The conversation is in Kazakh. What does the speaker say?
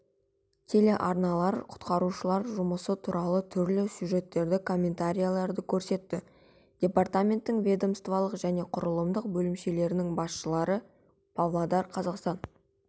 телеарналар құтқарушылар жұмысы туралы түрлі сюжеттерді комментарийлерді көрсетті департаментінің ведомстволық және құрылымдық бөлімшелерінің басшылары павлодар-қазақстан